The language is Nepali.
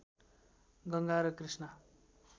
गङ्गा र कृष्णा